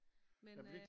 Men øh